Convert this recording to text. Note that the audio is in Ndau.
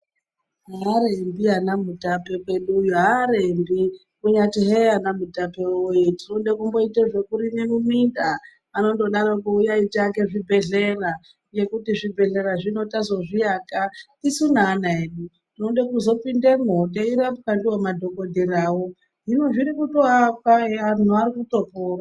Arembi ana murape kweduyo kunyati hei ana mutape wee tinoda kumboita zvekurima muminda anongodaroko uyayi tiake zvibhehleya nekuti zvibhehleya zvino tazozviaka tisu neana edu tinosisa kuzopindamo teirwapwa ndiwo madhokodheyawo hino zviri kutoakwa anhu arikuto pona.